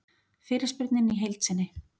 Fyrirspurnin í heild sinni